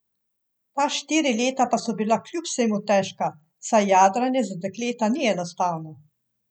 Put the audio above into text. Ta štiri leta pa so bila kljub vsemu težka, saj jadranje za dekleta ni enostavno.